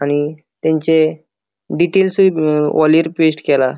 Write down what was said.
आणि तेनचे डिटेलसुय अ वोलिर पेस्ट केला.